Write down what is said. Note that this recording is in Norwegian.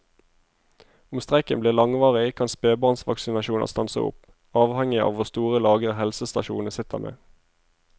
Om streiken blir langvarig kan spebarnsvaksinasjoner stanse opp, avhengig av hvor store lagre helsestasjonene sitter med.